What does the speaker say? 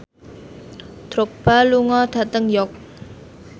Drogba lunga dhateng York